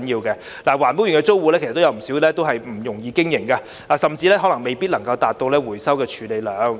不少環保園內的租戶經營不容易，甚至未能達到承諾的回收處理量。